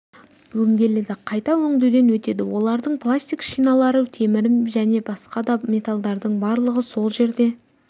өңделеді қайта өңдеуден өтеді олардың пластик шиналары темірі және басқа да металдарының барлығы сол жерде